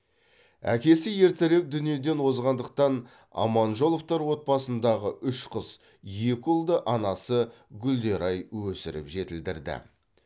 әкесі ертерек дүниеден озғандықтан аманжоловтар отбасындағы үш қыз екі ұлды анасы гүлдерай өсіріп жетілдірді